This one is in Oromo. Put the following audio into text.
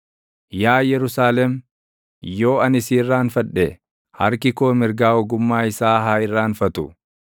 Yaa Yerusaalem, yoo ani si irraanfadhe, harki koo mirgaa ogummaa isaa haa irraanfatu.